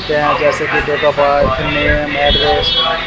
देखते हैं जैसे की date of birth name address --